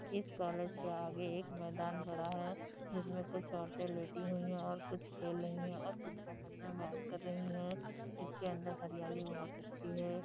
इस कॉलेज के आगे एक मैदान पड़ा है जिसमें कुछ औरतें लेटी हुई हैं और कुछ खेल रही हैं और कुछ हस हस में बात कर रही हैं इसके अन्दर हरियाली बहुत अच्छी है।